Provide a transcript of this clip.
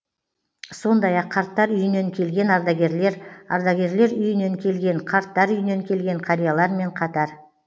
сондай ақ қарттар үйінен келген ардагерлер ардагерлер үйінен келген қарттар үйінен келген қариялармен қатар